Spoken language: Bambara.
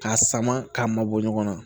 K'a sama k'a mabɔ ɲɔgɔn na